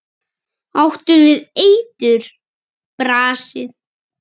Áttu við eitur. brasið?